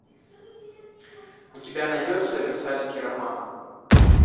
у тебя найдется версальский роман